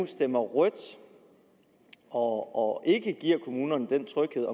stemmer rødt og ikke giver kommunerne den tryghed